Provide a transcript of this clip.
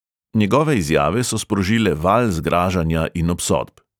Njegove izjave so sprožile val zgražanja in obsodb.